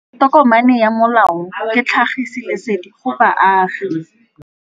Tokomane ya molao ke tlhagisi lesedi go baagi.